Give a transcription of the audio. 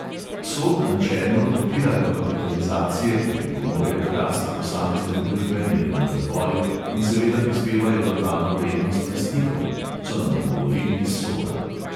"Sod načelno podpira dokapitalizacije, ki pripomorejo k rasti posamezne družbe, njenemu razvoju in seveda prispevajo dodano vrednost lastnikom," so nam odgovorili iz soda.